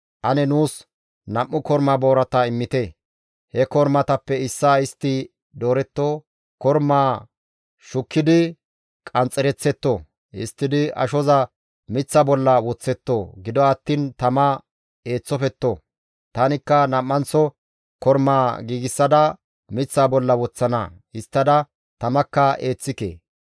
Ane nuus nam7u korma boorata immite; he kormatappe issaa istti dooretto; kormaa shukkidi qanxxereththetto; histtidi ashoza miththa bolla woththetto; gido attiin tama eeththofetto. Tanikka nam7anththo kormaa giigsada miththaa bolla woththana; histtada tamakka eeththike.